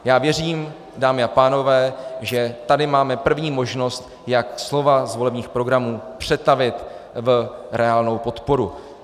Já věřím, dámy a pánové, že tady máme první možnost, jak slova z volebních programů přetavit v reálnou podporu.